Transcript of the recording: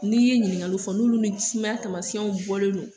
N'i ye ɲiningali fɔ n'olu ni sumaya taamasiyɛnw bɔlen no,